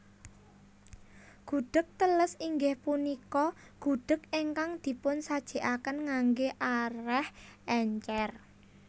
Gudheg teles inggih punika gudheg ingkang dipunsajèkaken nganggé arèh èncèr